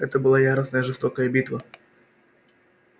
это была яростная и жестокая битва